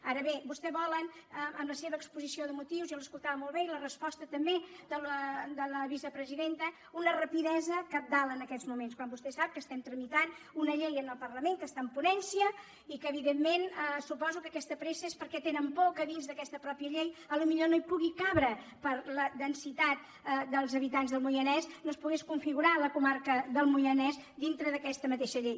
ara bé vostès volen amb la seva exposició de motius jo els escoltava molt bé i la resposta també de la vicepresidenta una rapidesa cabdal en aquests moments quan vostè sap que estem tramitant una llei en el parlament que està en ponència i que evidentment suposo que aquesta pressa és perquè tenen por que dins d’aquesta mateixa llei potser no hi pugui caber per la densitat dels habitants del moianès no es pogués configurar la comarca del moianès dintre d’aquesta mateixa llei